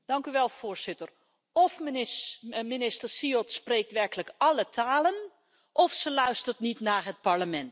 Voorzitter, of minister Siod spreekt werkelijk alle talen, of zij luistert niet naar het Parlement.